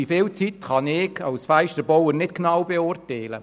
Wie viel Zeit es braucht, kann ich als Fensterbauer nicht genau beurteilen.